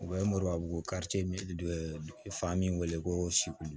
O ye murabu dɔ ye fa min weele ko